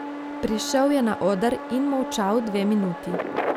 Prišel je na oder in molčal dve minuti.